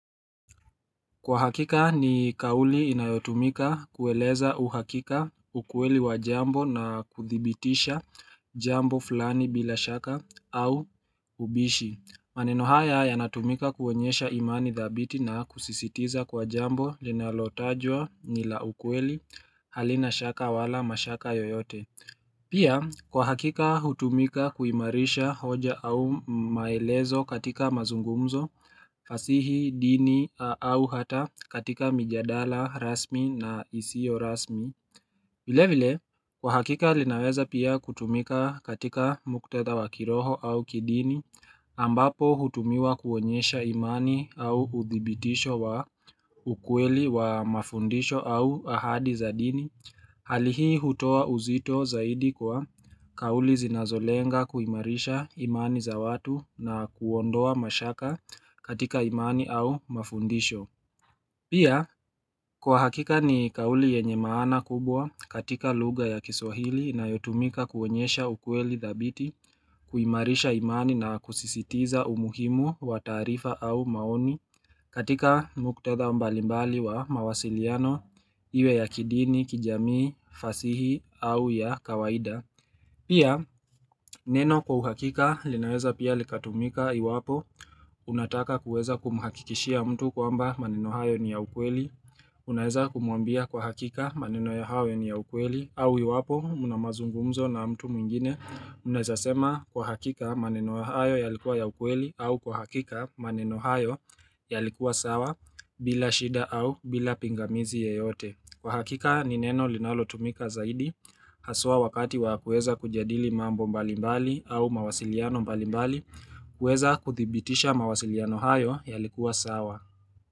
Kwa hakika ni kauli inayotumika kueleza uhakika ukweli wa jambo na kuthibitisha jambo fulani bila shaka au ubishi. Maneno haya yanatumika kuonyesha imani dhabiti na kusisitiza kwa jambo linalotajwa ni la ukweli halina shaka wala mashaka yoyote Pia kwa hakika hutumika kuimarisha hoja au maelezo katika mazungumzo, fasihi, dini au hata katika mijadala rasmi na isiyo rasmi vile vile kwa hakika linaweza pia kutumika katika muktadha wa kiroho au kidini ambapo hutumiwa kuonyesha imani au udhibitisho wa ukweli wa mafundisho au ahadi za dini Hali hii hutoa uzito zaidi kwa kauli zinazolenga kuimarisha imani za watu na kuondoa mashaka katika imani au mafundisho Pia kwa hakika ni kauli yenye maana kubwa katika lugha ya kiswahili inayotumika kuonyesha ukweli dhabiti, kuimarisha imani na kusisitiza umuhimu wa taarifa au maoni, katika muktadha mbalimbali ya mawasiliano Iwe ya kidini, kijamii, fasihi au ya kawaida. Pia neno kwa uhakika linaweza pia likatumika iwapo unataka kuweza kumuhakikishia mtu kwamba maneno hayo ni ya ukweli Unaweza kumuambia kwa hakika maneno hayo ni ya ukweli au iwapo mna mazungumzo na mtu mwingine unaweza sema kwa hakika maneno hayo yalikuwa ya ukweli au kwa hakika maneno hayo yalikuwa sawa bila shida au bila pingamizi yoyote. Kwa hakika ni neno linalotumika zaidi Haswa wakati wa kuweza kujadili mambo mbali mbali au mawasiliano mbali mbali huweza kuthibitisha mawasiliano hayo yalikuwa sawa.